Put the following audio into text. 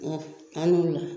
Ɔ an ni wula